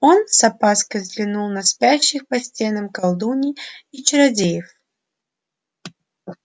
он с опаской взглянул на спящих по стенам колдуний и чародеев